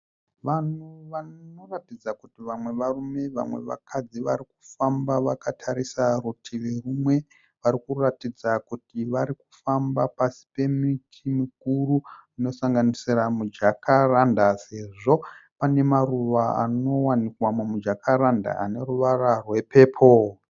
Vanhu vanoratidza kuti vamwe varume vamwe vakadzi vari kufamba vakatarisa rutivi rumwe. Vari kuratidza kuti vari kufamba pasi pemiti mikuru inosanganisira mujakaranda sezvo pane maruva anowanikwa mumujakaranda anoruvara rwe"purple".